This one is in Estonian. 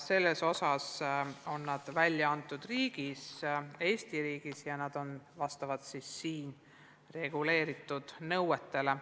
Need on välja antud Eesti riigis ja vastavad siin reguleeritud nõuetele.